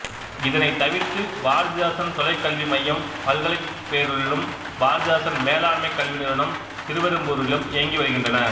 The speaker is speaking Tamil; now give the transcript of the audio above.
இதனைத் தவிர்த்து பாரதிதாசன் தொலைக்கல்வி மையம் பல்கலைப்பேரூரிலும் பாரதிதாசன் மேலாண்மைக் கல்வி நிறுவனம் திருவெரும்பூரிலும் இயங்கி வருகின்றன